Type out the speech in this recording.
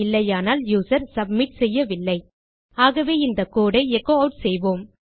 இல்லையானால் user submit செய்யவில்லை ஆகவே இந்த கோடு ஐ எச்சோ ஆட் செய்வோம்